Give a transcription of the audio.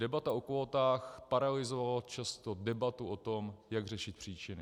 Debata o kvótách paralyzovala často debatu o tom, jak řešit příčiny.